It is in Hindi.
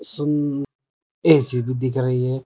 ए_सी भी दिख रही है।